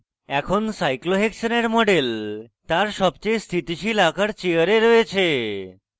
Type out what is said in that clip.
এখন cyclohexane model তার সবচেয়ে স্থিতিশীল আকার chair এ রয়েছে